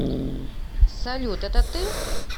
салют это ты